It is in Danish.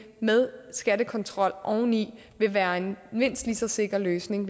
med skattekontrol oveni vil være en mindst lige så sikker løsning